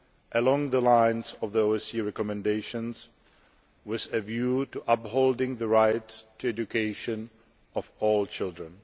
along the lines of the OSCE recommendations, with a view to upholding the right to education of all children.